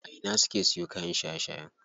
A ina suke siyo kayan shaye shaye?